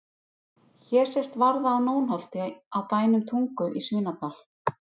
Hér sést varða á Nónholti á bænum Tungu í Svínadal.